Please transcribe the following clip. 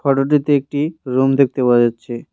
ফটোটিতে একটি রুম দেখতে পাওয়া যাচ্ছে।